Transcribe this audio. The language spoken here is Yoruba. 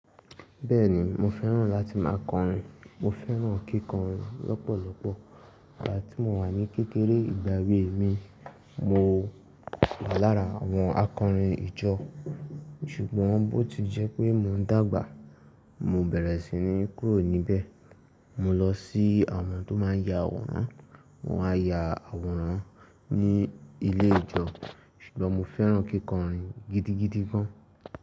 Bẹ́ẹ̀ni mo fẹ́ràn láti má a kọrin. Mo fẹ́ràn kíkọrin lọ́pọ̀lọpọ̀. Gbá tí mo wà ní kékeré ìgbà ewé mi, mo wà lára àwọn akọrin ìjọ. Ṣùgbọ́n bọ́ ti jẹ́ pé mo ń dàgbà, mo bẹ̀rẹ̀ sí ní kúrò níbẹ̀. Mo lọ sí àwọn tó máa ń ya àwòrán. Wọ́n á ya àwòrán ní ilé ìjọ. Ṣùgbọ́n mo fẹ́ràn kíkọrin gidigidi gan.